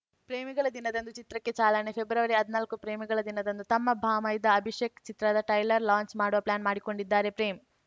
ಪ್ರೇಮಿಗಳ ದಿನದಂದು ಚಿತ್ರಕ್ಕೆ ಚಾಲನೆ ಫೆಬ್ರವರಿಹದ್ನಾಲ್ಕು ಪ್ರೇಮಿಗಳ ದಿನದಂದು ತಮ್ಮ ಭಾಮೈದ ಅಭಿಷೇಕ್‌ ಚಿತ್ರದ ಟೈಲರ್ ಲಾಂಚ್‌ ಮಾಡುವ ಪ್ಲಾನ್‌ ಮಾಡಿಕೊಂಡಿದ್ದಾರೆ ಪ್ರೇಮ್‌